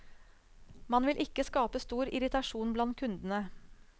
Man vil ikke skape stor irritasjon blant kundene.